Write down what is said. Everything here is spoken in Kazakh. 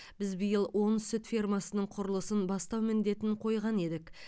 біз биыл он сүт фермасының құрылысын бастау міндетін қойған едік